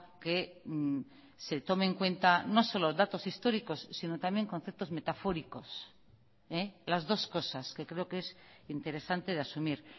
que se tome en cuenta no solo datos históricos sino también conceptos metafóricos las dos cosas que creo que es interesante de asumir